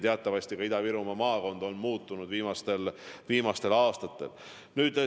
Teatavasti on Ida-Viru maakond viimastel aastatel muutunud.